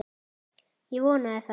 Ég vonaði það.